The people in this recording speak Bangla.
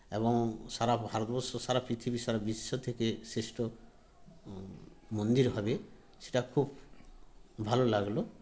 এবং সারা ভারতবর্ষ সারা পৃথিবী সারা বিশ্ব থেকে শ্রেষ্ঠ মন্দির হবে সেটা খুব ভালো লাগলো